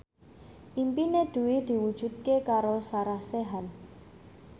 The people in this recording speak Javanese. impine Dwi diwujudke karo Sarah Sechan